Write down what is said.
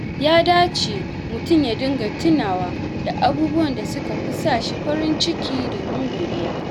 Ya dace mutum ya dinga tunawa da abubuwan da suka fi sa shi farin ciki domin godiya.